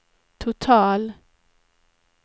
total